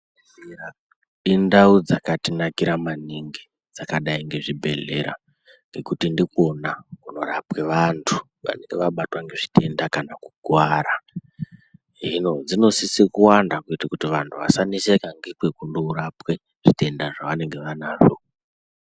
Indau dzakatinakira maningi dzakadai ngezvibhedhlera ngekuti ndikwona kunorapwa vantu vanenge vabatwa ngezvitenda kana kuti vakuwara akuwara, hino dzinosise kuwanda kuti vantu vawone kurapwe zvitenda zvavanenge vanazvo .